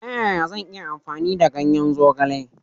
Ta yaya zan iya amfani da ganyen zogale?